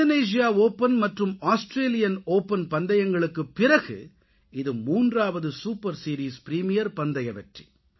Indonesia open மற்றும் Australia open பந்தயங்களுக்குப் பிறகு இது மூன்றாவது சூப்பர் சீரீஸ் பிரீமியர் பந்தய வெற்றி